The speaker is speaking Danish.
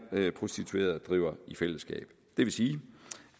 prostituerede driver i fællesskab det vil sige